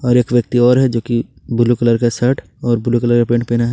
और एक व्यक्ति और है जो कि ब्लू कलर का शर्ट और ब्लू कलर का पेंट पहना है।